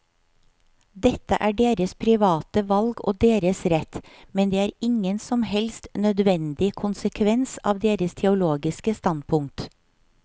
Dette er deres private valg og deres rett, men det er ingen som helst nødvendig konsekvens av deres teologiske standpunkt.